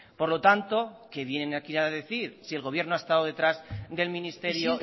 por lo tanto qué vienen aquí a decir si el gobierno ha estado detrás del ministerio